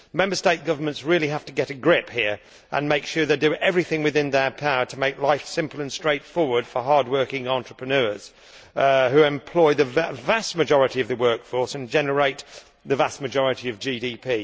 Member State governments really have to get a grip here and make sure they do everything within their power to make life simple and straightforward for hard working entrepreneurs who employ the vast majority of the workforce and generate the vast majority of GDP.